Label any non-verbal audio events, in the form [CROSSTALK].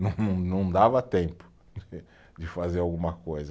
Não, não, não dava tempo [LAUGHS] de fazer alguma coisa.